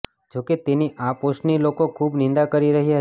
જોકે તેની આ પોસ્ટની લોકો ખૂબ નિંદા કરી રહ્યા છે